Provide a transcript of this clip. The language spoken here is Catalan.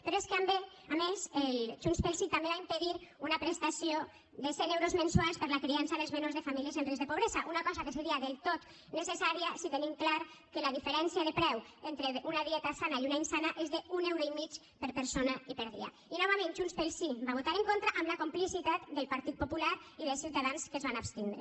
però és que a més junts pel sí també va impedir una prestació de cent euros mensuals per a la criança dels menors de famílies en risc de pobresa una cosa que seria del tot necessària si tenim clar que la diferència de preu entre una dieta sana i una d’insana és d’un euro i mig per persona i per dia i novament junts pel sí hi va votar en contra amb la complicitat del partit popular i de ciutadans que es van abstindre